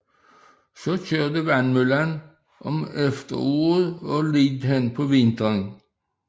Så kørte vandmøllen om efteråret og lidt hen på vinteren